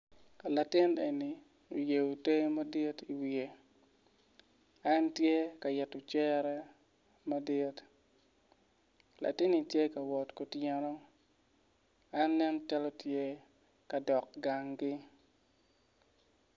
Latin en oyeo ter madit i wiye en tye ka yito cere madit latinni tye ka wot kutyeno en ne calo tye ka dok gangi